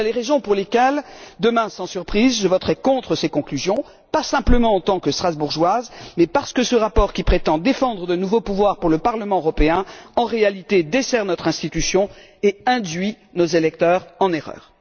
Voilà les raisons pour lesquelles demain, sans surprise, je voterai contre ces conclusions, pas seulement en tant que Strasbourgeoise, mais parce que ce rapport qui prétend défendre de nouveaux pouvoirs pour le Parlement européen dessert en réalité notre institution et induit nos électeurs en erreur.